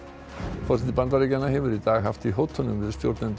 forseti Bandaríkjanna hefur í dag haft í hótunum við stjórnendur